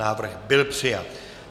Návrh byl přijat.